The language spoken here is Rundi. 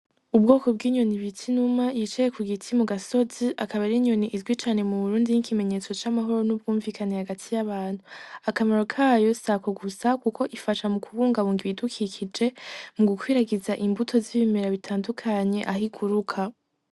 Ubwoko bw'inyoni bita inuma yicaye kugiti mugasozi. Akaba ari inyoni izwi cane mu Burundi nk'ikimenyetso c'amahoro no kwumvikana hagati y'abantu. Akamaro kayo si ako gusa, kuko ifasha mu kubungabunga ibidukikije, mu gukwiragiza imbuto z'ibimera bitandukanye aho iguruka.